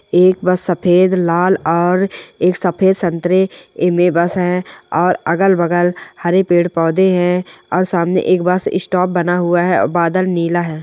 एक बस सफेद लाल और एक सफेद संतरे एमे बस है और अगल-बगल हरे पेड़-पौधे हैं और सामने एक बस स्टॉप बना हुआ है और बादल नीला है।